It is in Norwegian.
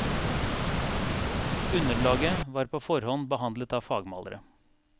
Underlaget var på forhånd behandlet av fagmalere.